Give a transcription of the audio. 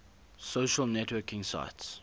social networking sites